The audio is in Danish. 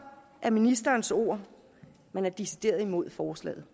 er ministerens ord man er decideret imod forslaget